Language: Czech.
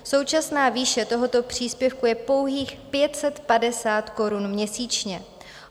Současná výše tohoto příspěvku je pouhých 550 korun měsíčně.